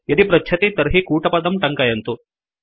यदि पृच्छति तर्हि कूटपदं टङ्कयन्तु